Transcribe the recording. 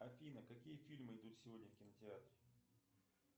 афина какие фильмы идут сегодня в кинотеатре